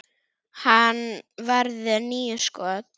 Hann varði níu skot.